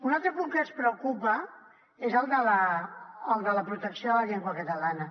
un altre punt que ens preocupa és el de la protecció de la llengua catalana